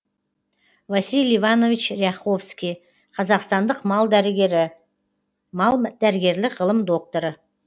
василий иванович ряховский қазақстандық мал дәрігері мал дәрігерлік ғылым докторы